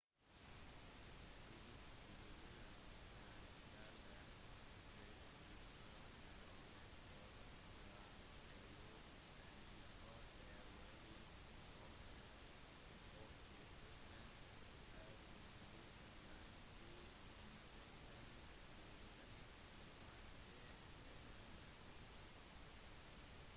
de inkluderer finansielle restriksjoner og et forbud fra eu om eksport av råolje som er 80 % av den utenlandske inntekten til den iranske økonomien